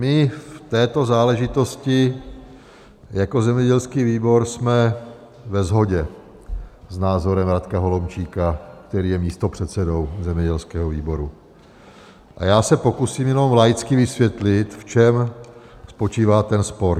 My v této záležitosti jako zemědělský výbor jsme ve shodě s názorem Radka Holomčíka, který je místopředsedou zemědělského výboru a já se pokusím jenom laicky vysvětlit, v čem spočívá ten spor.